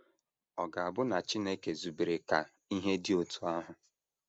Ọ̀ ga - abụ na Chineke zubere ka ihe dị otú ahụ?